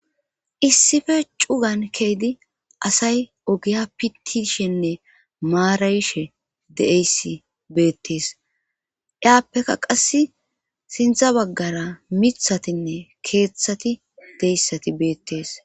Issife cugan keedi asay ogiya pitishenne maarawishe deeyssi beettees iyaappeka qass sintha baggara mithatinne keeththati deyssati beettees